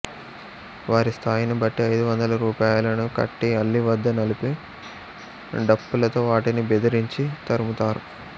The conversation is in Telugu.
వారి స్థాయిని బట్టి ఐదు వందల రూపాయలను కట్టి అల్లి వద్ద నిలిపి డప్పులతొ వాటిని బెదిరించి తరుముతారు